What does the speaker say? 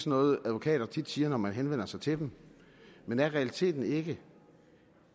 noget advokater tit siger når man henvender sig til dem men er realiteten ikke